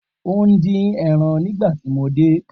O n din ẹran nigbati mo de